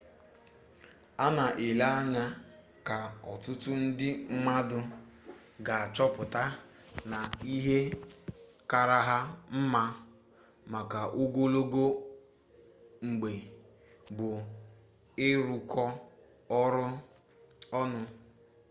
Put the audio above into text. a na-ele anya na ọtụtụ ndị mmadụ ga-achọpụta na ihe kaara ha mma maka ogologo mgbe bụ ịrụkọ ọrụ ọnụ